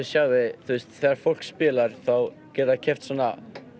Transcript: þegar fólk spilar þá geta þau keypt svona